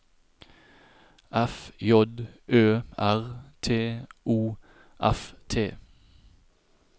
F J Ø R T O F T